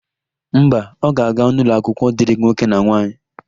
Mba, ọ ga-aga n'ụlọakwụkwọ dịrị nwoke na nwaanyị.